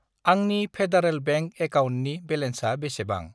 आंनि federal bank एकाउन्टनि बेलेन्सा बेसेबां?